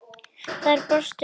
Þær brostu báðar.